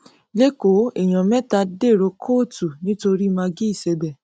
lẹkọọ èèyàn mẹta dèrò kóòtù nítorí mãgí ìsẹbẹ